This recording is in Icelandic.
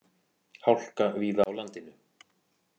Hálka víða á landinu